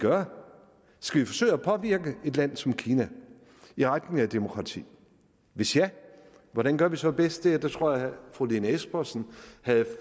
gøre skal vi forsøge at påvirke et land som kina i retning af demokrati hvis ja hvordan gør vi så bedst det her tror jeg at fru lene espersen havde